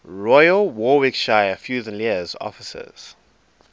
royal warwickshire fusiliers officers